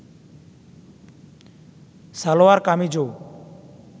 salwar কামিজও